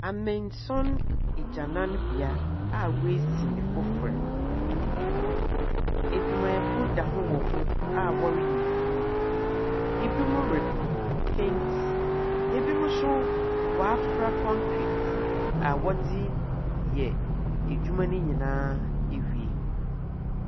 Amansɔn agyananbea a woesi no fofor. Edwumayɛfo da ho wɔ ho a wɔreyɛ edwuma. Binom repent, binom nso wɔafra concrete a wɔdze reyɛ edwuma no nyinaa ewie.